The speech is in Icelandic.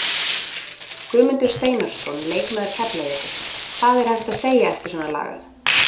Guðmundur Steinarsson leikmaður Keflavíkur: Hvað er hægt að segja eftir svona lagað?